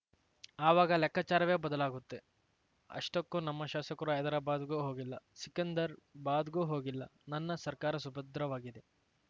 ಆವಾಗ ಲೆಕ್ಕಾಚಾರವೇ ಬದಲಾಗುತ್ತೆ ಅಷ್ಟಕ್ಕೂ ನಮ್ಮ ಶಾಸಕರು ಹೈದರಾಬಾದ್‌ಗೂ ಹೋಗಿಲ್ಲ ಸಿಕಂದರ್ ಬಾದ್‌ಗೂ ಹೋಗಿಲ್ಲ ನನ್ನ ಸರ್ಕಾರ ಸುಭದ್ರವಾಗಿದೆ